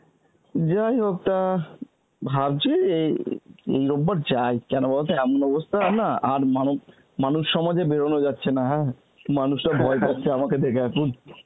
যাইহোক তা ভাবছি এই~ এই রোববার যাই কেন বলতো এমন অবস্থা না আর মানব~ মানুষ সমাজে বেরোনো যাচ্ছে না হ্যাঁ মানুষরা ভয় পাচ্ছে আমাকে দেখে এখন